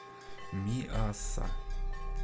миасса